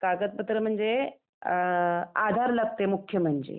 कागद पत्र म्हणजे, आधार लागते मुख्य म्हणजे.